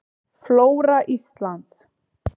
Flóra Íslands.